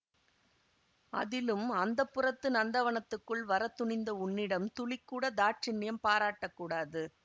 அதிலும் அந்தப்புரத்து நந்தவனத்துக்குள் வர துணிந்த உன்னிடம் துளிக்கூட தாட்சிண்யம் பாராட்டக் கூடாது